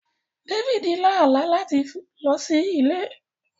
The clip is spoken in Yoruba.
David lá àlá láti lọ sí Ilẹ̀ Adúláwọ̀ láti rí kìnnìún nínú ilé wọn.